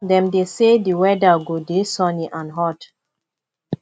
dem dey say di weather go dey sunny and hot